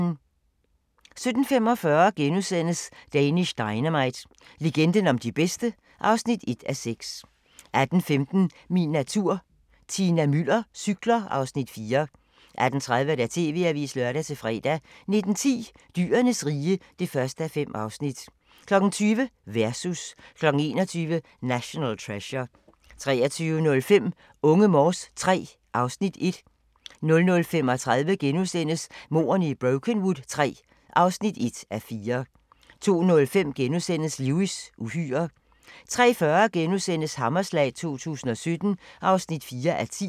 17:45: Danish Dynamite - legenden om de bedste (1:6)* 18:15: Min natur - Tina Müller cykler (Afs. 4) 18:30: TV-avisen (lør-fre) 19:10: Dyrenes rige (1:5) 20:00: Versus 21:00: National Treasure 23:05: Unge Morse III (Afs. 1) 00:35: Mordene i Brokenwood III (1:4)* 02:05: Lewis: Uhyrer * 03:40: Hammerslag 2017 (4:10)*